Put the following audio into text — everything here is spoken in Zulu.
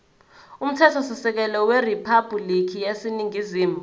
umthethosisekelo weriphabhulikhi yaseningizimu